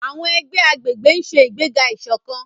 Àwọn ẹgbẹ́ agbègbè ń ṣe ìgbéga ìṣọ̀kan.